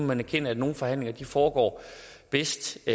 man erkende at nogle forhandlinger foregår bedst